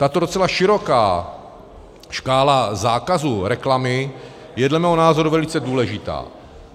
Tato docela široká škála zákazu reklamy je dle mého názoru velice důležitá.